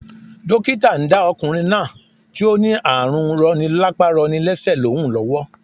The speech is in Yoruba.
Dókítà ndá okùnrin náà tí ó ní ààrù roni lápá roni lésè lóhùn lówó